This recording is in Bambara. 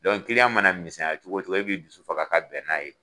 kiliyan mana misɛnya cogo cogo e bi dusu faga ka bɛn naa ye.